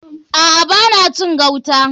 A'a. Ba na cin gauta.